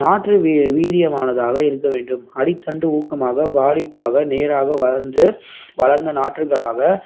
நாற்று வீ~ வீரியமானதாக இருக்கவேண்டும் அடித்தண்டு ஊக்கமாக, வாளிப்பாக, நேராக வளர்ந்து வளர்ந்த நாற்றுகளாக